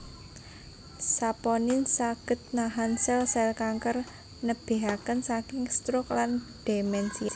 Saponin saged nahan sèl sèl kanker nebihaken saking stroke lan demensia